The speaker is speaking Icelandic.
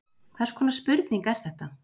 Hvers konar spurning er þetta?